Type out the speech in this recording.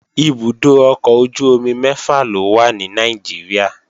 Ibùdó ọkọ̀ ojú-omi mẹ́fà ló wà ní Nàìjíríà